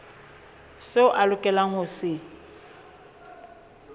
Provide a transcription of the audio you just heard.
seo a lokelang ho se